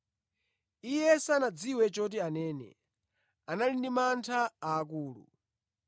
(Iye sanadziwe choti anene, anali ndi mantha akulu).